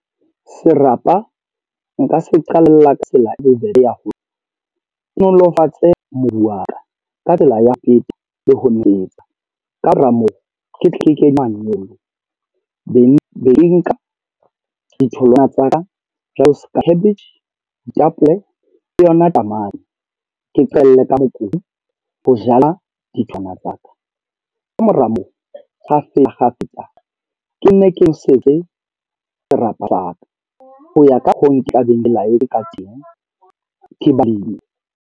Serapa nka se qalla ka tsela e bobebe ya hore, ke nolofatse mobu wa ka. Ka tsela ya ho le ho nwesetsa. Ka mora moo, ke pleke manyolo, be ke nka ditholwana tsa ka jwalo seka cabbage, ditapole le yona tamati. Ke qetelle ka mokudi ho jala ditholwana tsa ka. Ka mora moo kgafetsa kgafetsa, ke nne ke nosetse serapa sa ka. Ho ya ka hoo, ke tla beng le line ka teng ke balemi.